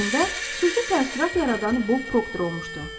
Cində xüsusi təəssürat yaradan Bob Proctor olmuşdu.